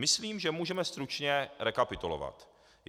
Myslím, že můžeme stručně rekapitulovat.